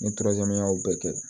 Ni y'o bɛɛ kɛ